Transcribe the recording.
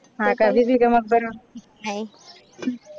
हा का बीबी का मकबरा